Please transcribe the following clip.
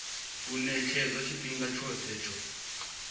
u ṅetshedzwa tshifhinga tshoṱhe tsho